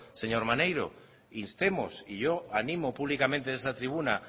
señor maneiro instemos y yo animo públicamente desde esta tribuna